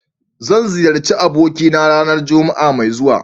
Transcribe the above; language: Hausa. Zan ziyarci abokina ranar Juma'a mai zuwa.